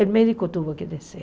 O médico teve que descer.